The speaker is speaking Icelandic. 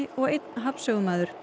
og einn hafnsögumaður